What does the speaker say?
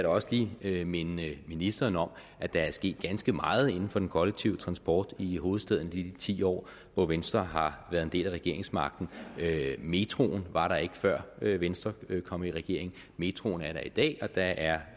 også lige minde ministeren om at der er sket ganske meget inden for den kollektive transport i hovedstaden i de ti år hvor venstre har været en del af regeringsmagten metroen var der ikke før venstre kom i regering metroen er der i dag og der er